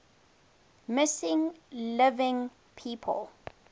missing living people